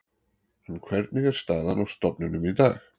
En hvernig er staðan á stofninum í dag?